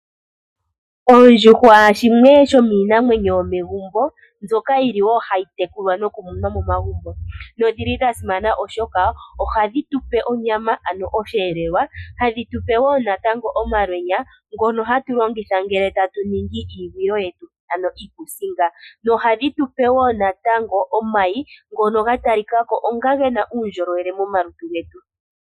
Oondjuhwa shimwe shomiinamwenyo yomegumbo mbyoka yili wo hayi tekulwa nokumunwa momagumbo, nodhili dhasimana oshoka ohadhi tupe onyama ano oshiyelelwa, hadhi tupe wo natango omalweenya ngono hatu longitha ngele tatu ningi iigwilo yetu, ano iikuusinga, nohadhi tupe wo natango omayi ngoka gatalikako onga gena uundjolowele momalutu getu.